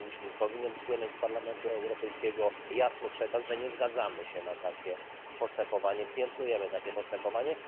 Powinien płynąć z Parlamentu Europejskiego jasny przekaz, że nie zgadzamy się na takie postępowanie, piętnujemy takie postępowanie.